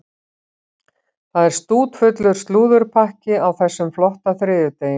Það er stútfullur slúðurpakki á þessum flotta þriðjudegi.